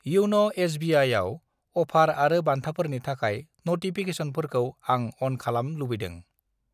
इउन' एस.बि.आइ.आव अफार आरो बान्थाफोरनि थाखाय नटिफिकेसनफोरखौ आं अन खालाम लुबैदों।